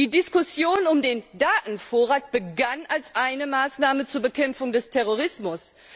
Die Diskussion um den Datenvorrat begann als eine Maßnahme zur Bekämpfung des Terrorismus.